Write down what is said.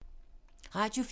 Radio 4